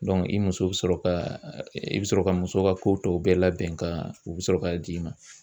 Dɔnku i muso be sɔrɔ ka i bi sɔrɔ ka muso ka ko tɔw bɛɛ labɛn ka u be sɔrɔ k'a d'i ma